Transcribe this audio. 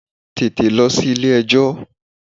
Tètè lọ sí ilé ẹjọ́!